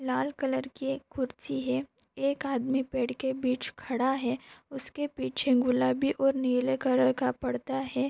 लाल colour की कुरसी है एक आदमी पेड़ के बीच खड़ा है उसके पीछे गुलाबी और नीले कलर का पर्दा है।